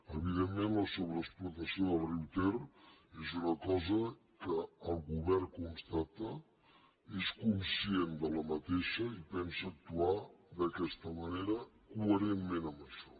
evidentment la sobreexplotació del riu ter és una cosa que el govern constata n’és conscient i pensa actuar d’aquesta ma·nera coherentment amb això